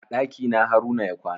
A ɗakina haruna ya kwana.